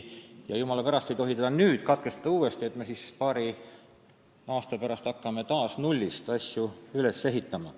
Jumala pärast, ei tohi kõike nüüd uuesti katkestada, et hakata paari aasta pärast taas nullist asju üles ehitama.